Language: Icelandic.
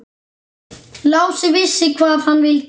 Lási vissi hvað hann vildi.